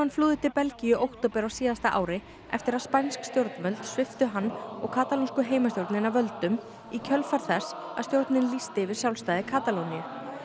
flúði til Belgíu í október á síðasta ári eftir að spænsk stjórnvöld sviptu hann og katalónsku heimastjórnina völdum í kjölfar þess að stjórnin lýsti yfir sjálfstæði Katalóníu